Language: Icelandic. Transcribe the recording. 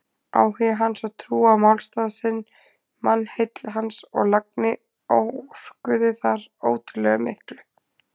Áhugi hans og trú á málstað sinn, mannheill hans og lagni orkuðu þar ótrúlega miklu.